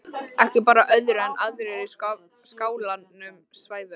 Ekki bar á öðru en aðrir í skálanum svæfu.